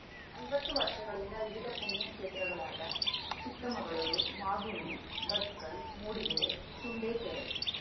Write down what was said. ಐವತ್ತು ವರ್ಷಗಳಿಂದ ವಿವಿಧ ಪುಣ್ಯ ಕ್ಷೇತ್ರಗಳಾದ ಚಿಕ್ಕಮಗಳೂರು ಮಾಗುಂಡಿ ಬಸ್ಕಲ್‌ ಮೂಡಿಗೆರೆ ಸುಂಡೇಕೆರೆ